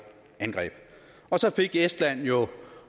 angreb så fik estland jo